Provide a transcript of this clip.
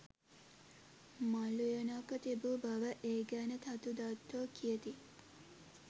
මල් උයනක්ව තිබූ බව ඒ ගැන තතු දත්තෝ කියති